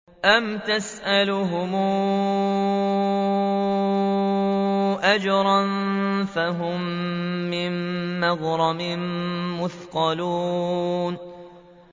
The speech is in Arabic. أَمْ تَسْأَلُهُمْ أَجْرًا فَهُم مِّن مَّغْرَمٍ مُّثْقَلُونَ